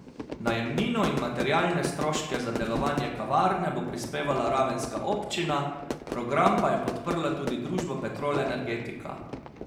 Najemnino in materialne stroške za delovanje kavarne bo prispevala ravenska občina, program pa je podprla tudi družba Petrol Energetika.